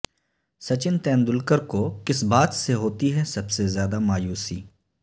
سچن تندولکر کو کس بات سے ہوتی ہے سب سے زیادہ مایوسی